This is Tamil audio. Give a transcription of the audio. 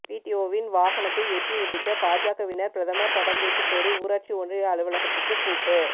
பிடிஓவின் வாகனத்தை எட்டி உதைத்த பாஜவினர் பிரதமர் படம் வைக்க கோரி ஊராட்சி ஒன்றிய அலுவலகத்துக்கு பூட்டு